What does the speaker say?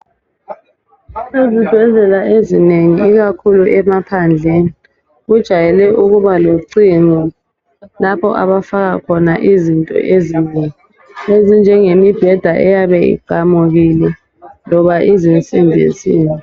Izibhedlela ezinengi ikakhulu emaphandleni kujayele ukuba locingo lapho abafaka khona izinto ezinengi ezinjengemibheda eyabe iqamukile loba izinsimbi nsimbi.